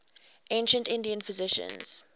ancient indian physicians